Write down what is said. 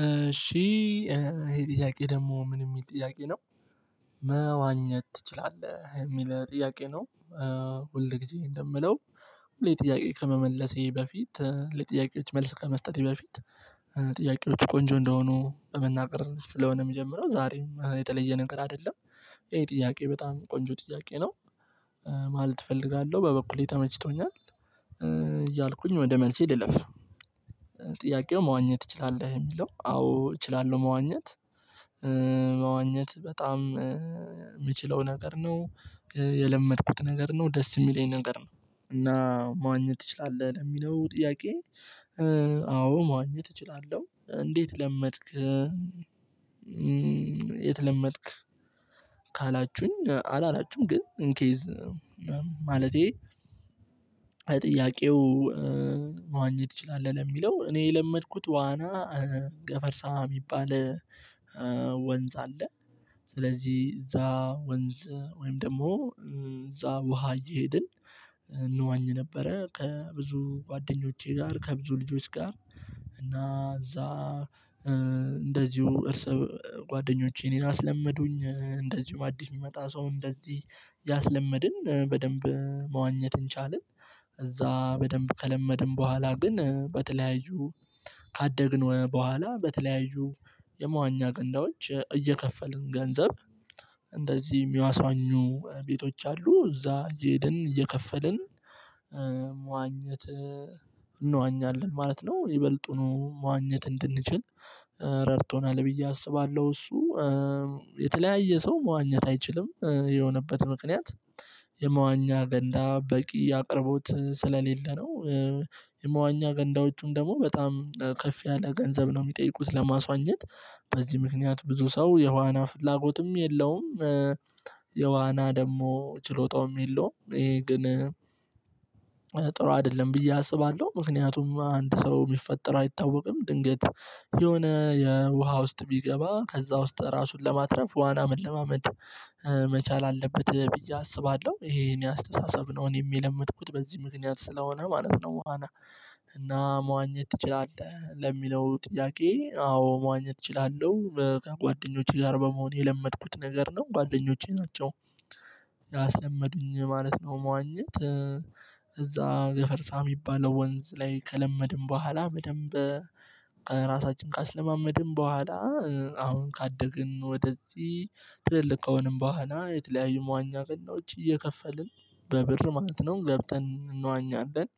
እሺ ይሄ ጥያቄ ደግሞ ምን የሚል ጥያቄ ነው። መዋኘት ትችላለህ የሚል ጥያቄ ነው። ሁል ጊዜ እንደምለው ሁሌ ጥያቄ ከመመለሴ በፊት ለጥያቄዎች መልስ ከመስጠቴ በፊት ጥያቄዎቹ ቆንጆ እንደሆኑ በመናገር ስለሆነ የሚጀምረው ዛሬም የተለየ ነገር አይደለም። ይሄ ጥያቄ በጣም ቆንጆ ጥያቄ ነው። ማለት እፈልጋለሁ በበኩሌ ተመችቶኛል። እያልኩኝ ወደ መልሴ ልልፍ። ጥያቄው መዋኘት እችላለሁ የሚለው አዎ እችላለሁ መዋኘት። መዋኘት በጣም የምችለው ነገር ነው የለመድኩት ነገር ነው ደስ የሚለኝ ነገር ነው። እና ማዋኘት ትችላለህ ለሚለው ጥያቄ። አዎ መዋኘት እችላለሁ። እንዴት ለመድክ? የት ለመድክ? ካላችሁኝ አላላችሁም ግን እንኬዝ። ማለቴ። ጥያቄው መዋኘት ትችላለህ ለሚለው እኔ የለመድኩት ዋና። ገፈርሳ የሚባል ወንዝ አለ። ስለዚህ እዛ ወንዝ ወይም ደግሞ እዛ ውሃ እየሄድን እንዋኝ ነበረ ከብዙ ጓደኞቼ ጋር ከብዙ ልጆች ጋር እና እዛ። እንደዚሁ እርስ ጓደኞቼ እኔን አስለመዱኝ እንደዚሁ አዲስ የሚመጣ ሰው እንደዚህ እያስለመድን በደንብ መዋኘትን ቻልን። እዛ በደንብ ከለመደን በኋላ ግን በተለያዩ ካደግን በኋላ በተለያዩ የመዋኛ ገንዳዎች እየከፈልን ገንዘብ። እንደዚህ የሚያስዋኙ ቤቶች አሉ እዛ እየሄድን እየከፈልን መዋኘት እንዋኛለን ማለት ነው። ይበልጡኑ መዋኘት እንድንችል ረድቶናል ብዬ አስባለሁ። እሱ የተለያየ ሰው መዋኘት አይችልም የሆነበት ምክንያት የመዋኛ ገንዳ በቂ አቅርቦት ስለሌለ ነው። የመዋኛ ገንዳዎቹም ደግሞ በጣም ከፍ ያለ ገንዘብ ነው የሚጠይቁት ለማስዋኘት። በዚህ ምክንያት ብዙ ሰው የዋና ፍላጎትም የለውም። የዋና ደግሞ ችሎታውም የለውም ይሄ ግን ጥሩ አይደለም ብዬ አስባለሁ። ምክንያቱም አንድ ሰው የሚፈጠረው አይታወቅም ድንገት የሆነ የውሃ ውስጥ ቢገባ ከዛ ውስጥ ራሱን ለማትረፍ ዋና መለማመድ። መቻል አለበት ብዬ አስባለሁ። ይሄ እኔ አስተሳሰብ ነው እኔ የለመድኩት በዚህ ምክንያት ስለሆነ ማለት ነው። ዋና እና መዋኘት ትችላለህ ለሚለው ጥያቄ አዎ መዋኘት እችላለሁ። ከጓደኞቼ ጋር በመሆን የለመድኩት ነገር ነው ጓደኞቼ ናቸው። ያስለመዱኝ ማለት ነው። መዋኘት እዛ ገፈርሳ የሚባለው ወንዝ ላይ ከለመድን በኋላ በደንብ። ራሳችን ካስለማመድን በኋላ አሁን ካደግን ወደዚህ ትልልቅ ከሆንን በኋላ የተለያዩ መዋኛ ገንዳዎች እየከፈልን በብር ማለት ነው ገብተን እንዋኛለን።